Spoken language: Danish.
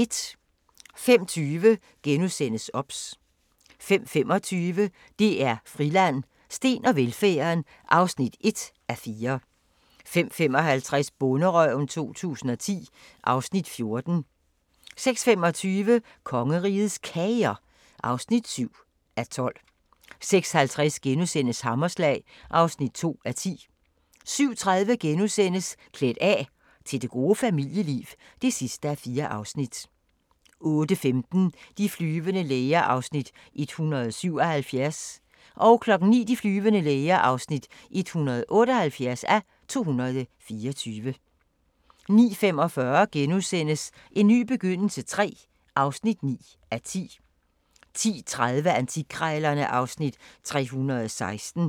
05:20: OBS * 05:25: DR Friland: Steen og velfærden (1:4) 05:55: Bonderøven 2010 (Afs. 14) 06:25: Kongerigets Kager (7:12) 06:50: Hammerslag (2:10)* 07:30: Klædt af – til det gode familieliv (4:4)* 08:15: De flyvende læger (177:224) 09:00: De flyvende læger (178:224) 09:45: En ny begyndelse III (9:10)* 10:30: Antikkrejlerne (Afs. 316)